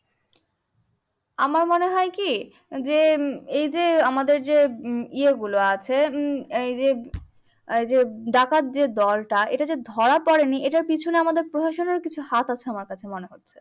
আমার মনে হয় কি যে এই যে আমাদের যে ইয়ে গুলো আছে উম এইযে যে ডাকাত যে দলটা এটা যে ধরা পড়েনি এইটার এইটার পিছনে আমাদের প্রশাসনের কিছু হাত আছে আমার কাছে মনে হচ্ছে।